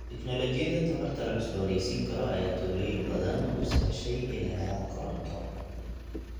Tignoolajiyada tamarta la cusboonaysiin karo ayaa tuulooyin badan u sahashay inay helaan koronto.